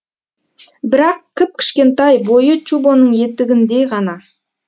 бірақ кіп кішкентай бойы чубоның етігіндей ғана